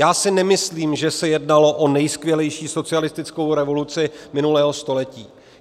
Já si nemyslím, že se jednalo o nejskvělejší socialistickou revoluci minulého století.